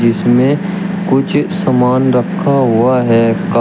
इसमें कुछ समान रखा हुआ है क--